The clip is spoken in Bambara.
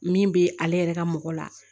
Min bɛ ale yɛrɛ ka mɔgɔ la